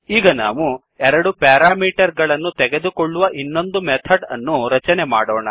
ಈಗ ನಾವು ಎರಡು ಪ್ಯಾರಾಮೀಟರ್ ಗಳನ್ನು ತೆಗೆದುಕೊಳ್ಳುವ ಇನ್ನೊಂದು ಮೆಥಡ್ ಅನ್ನು ರಚನೆ ಮಾಡೋಣ